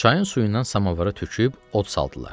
Çayın suyundan samovara töküb od saldılar.